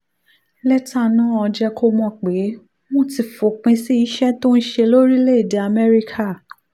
lẹ́tà náà jẹ́ kó mọ̀ pé wọ́n ti fòpin sí iṣẹ́ tó ń ṣe lórílẹ̀-èdè amẹ́ríkà